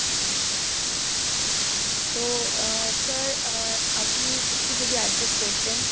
তো আহ sir আহ আপনি একটু যদি adjust করতেন?